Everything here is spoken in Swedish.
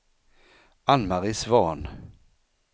Anne-Marie Svahn